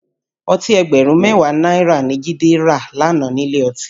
Ọtí ẹgbẹ̀rún mẹ́wàá náírà ni Jide rà lánàá nílé ọtí